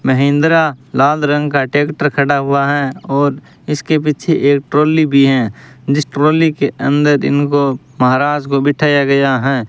महिंद्रा लाल रंग का ट्रैक्टर खड़ा हुआ है और इसके पीछे एक ट्रॉली भी है जिस ट्रॉली के अंदर इनको महाराज को बिठाया गया है।